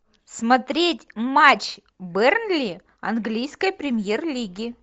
смотреть матч бернли английской премьер лиги